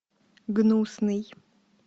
гнусный